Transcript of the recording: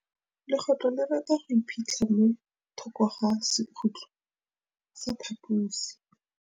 Legôtlô le rata go iphitlha mo thokô ga sekhutlo sa phaposi.